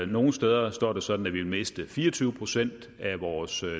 nogle steder står det sådan at vi vil miste fire og tyve procent af vores